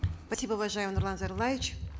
спасибо уважаемый нурлан зайроллаевич